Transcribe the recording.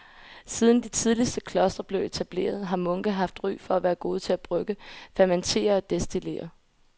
Siden de tidligste klostre blev etableret har munke haft ry for at være gode til at brygge, fermentere og destillere.